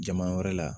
Jama wɛrɛ la